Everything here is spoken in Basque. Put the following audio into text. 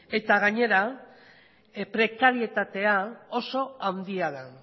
gainera prekarietatea oso handia da